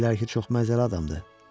Deyirlər ki, çox məzəli adamdır.